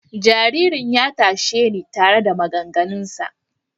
Jaririn ya tashe ni tare da maganganunsa.